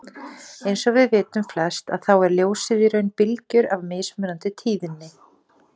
Eins og við vitum flest að þá er ljósið í raun bylgjur af mismunandi tíðni.